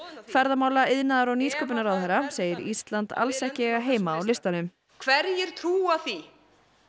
ferðamála iðnaðar og nýsköpunarráðherra segir Ísland alls ekki eiga heima á listanum hverjir trúa því